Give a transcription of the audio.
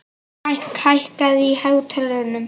Frank, hækkaðu í hátalaranum.